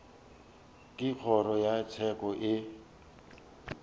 ge kgoro ya tsheko e